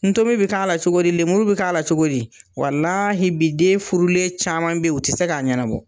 Ntomi bɛ k'a la cogo di ? Lemuru bɛ k'a la cogo di? Walahi bi den furulen caman bɛ yen o tɛ se k'a ɲɛnabɔ.